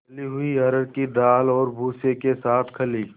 दली हुई अरहर की दाल और भूसे के साथ खली